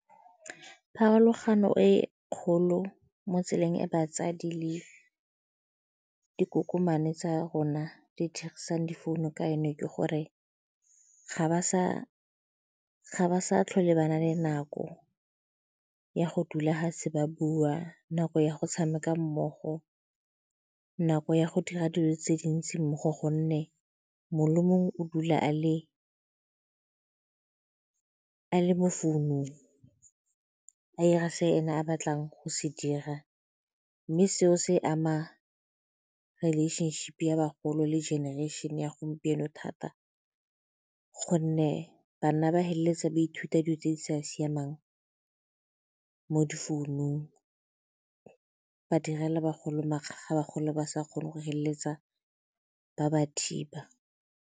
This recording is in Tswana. Pharologano e kgolo mo tseleng e batsadi le dikokomane tsa rona di dirisang difounu ka yone ke gore ga ba sa tlhole ba na le nako ya go dula ga se ba bua nako ya go tshameka mmogo, nako ya go dira dilo tse dintsi mmogo gonne mongwe le mongwe o dula a le mo founung a 'ira se ene a batlang go se dira mme seo se ama relationship-e ya bagolo le generation-e ya gompieno thata gonne banna ba feleletsa ba ithuta dilo tse di sa siamang mo difounung, ba direla bagolo makgakga, bagolo ba sa kgone go feleletsa ba ba thiba.